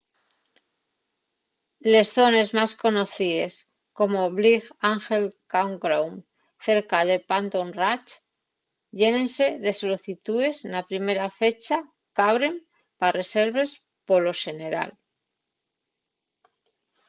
les zones más conocíes como'l bright angel campground cerca de phantom ranch llénense de solicitúes na primera fecha qu'abren pa reserves polo xeneral